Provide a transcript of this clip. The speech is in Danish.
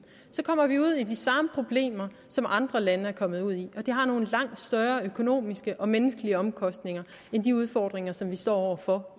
kommer vi ud i de samme problemer som andre lande er kommet ud i og det har nogle langt større økonomiske og menneskelige omkostninger end de udfordringer som vi står over for